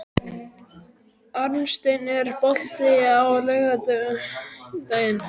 Arnsteinn, er bolti á laugardaginn?